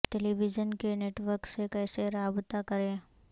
ٹیلی vision کے network سے کیسے رابطہ کریں